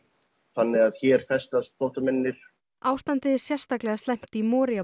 þannig að hér festast flóttamennirnir ástandið er sérstaklega slæmt í